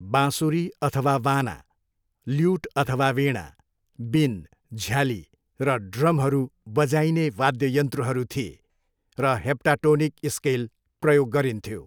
बाँसुरी अथवा वाना, ल्युट अथवा वीणा, बिन, झ्याली र ड्रमहरू बजाइने वाद्ययन्त्रहरू थिए र हेप्टाटोनिक स्केल प्रयोग गरिन्थ्यो।